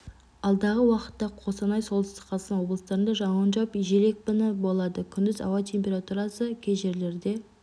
алдағы уақытта қостанай солтүстік қазақстан облыстарында жауын жауып жел екпіні болады күндіз ауа температурасы кей жерлерде